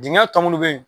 Dingɛ tɔ munnu bɛ yen